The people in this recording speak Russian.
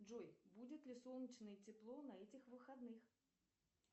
джой будет ли солнечное тепло на этих выходных